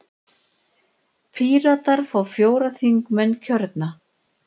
Píratar fá fjóra þingmenn kjörna.